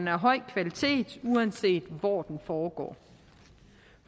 af høj kvalitet uanset hvor den foregår